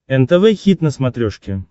нтв хит на смотрешке